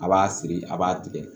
A b'a siri a b'a tigɛ